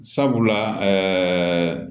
Sabula ɛɛ